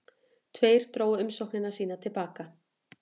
Tveir drógu umsóknir sínar til baka